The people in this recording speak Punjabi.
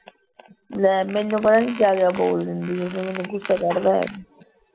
ਲੈ ਮੈਨੂੰ ਪਤਾ ਨੀ ਕਿਆ ਕਿਆ ਬੋਲ ਦਿੰਦੀ ਓਹ ਫਿਰ ਮੈਨੂੰ ਗੁੱਸਾ ਬੜਾ ਚੜਦਾ